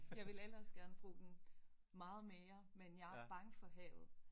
Jeg ville ellers gerne bruge den meget mere men jeg er bange for havet